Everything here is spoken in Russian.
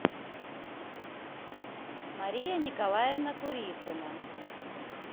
мария николаевна курицына